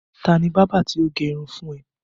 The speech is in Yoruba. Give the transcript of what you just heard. Ta ni bábà tí ó gẹ irun fún ẹ?